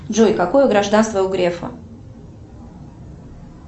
джой какое гражданство у грефа